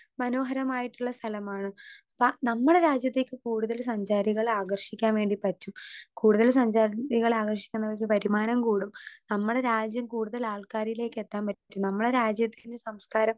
Speaker 2 മനോഹരമായിട്ടുള്ള സ്ഥലമാണ്‌ ഇപ്പൊ നമ്മളെ രാജ്യത്തേക്ക് കൂടുതല് സഞ്ചാരികളെ ആകർഷിക്കാൻ വേണ്ടി പറ്റും കൂടുതല് സഞ്ചാരികളെ ആകർഷിക്ക്ണൊരു വരുമാനം കൂടും നമ്മളെ രാജ്യം കൂടുതലാൾക്കാരിലേക്കെത്താൻ പറ്റും നമ്മളെ രാജ്യത്തിൻറെ സംസ്കാരം.